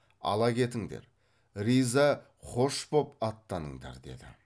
ала кетіңдер риза қош боп аттаныңдар деді